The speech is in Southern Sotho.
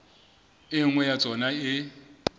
e nngwe ya tsona e